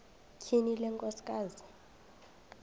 tyhini le nkosikazi